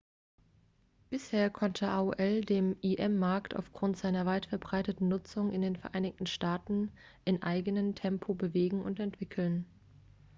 bisher konnte aol den im-markt aufgrund seiner weit verbreiteten nutzung in den vereinigten staaten in eigenen tempo bewegen und entwickeln